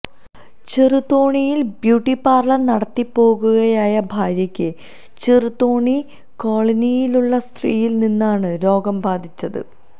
ചെറുതോണിയിൽ beauty parlour നടത്തിപ്പുകാരിയായ ഭാര്യക്ക് ചെറുതോണി കോളനിയിലുള്ള സ്ത്രീയിൽ നിന്നാണ് രോഗം ബാധിച്ചത്